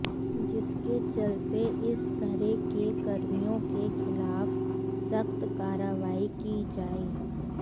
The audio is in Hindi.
जिसके चलते इस तरह के कर्मियों के खिलाफ सख्त कार्रवाई की जाए